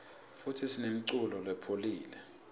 futsi sinemuculo lepholile